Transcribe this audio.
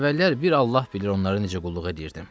Əvvəllər bir Allah bilir onları necə qulluq edirdim.